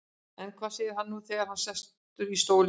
En hvað segir hann nú þegar hann er sestur í stólinn?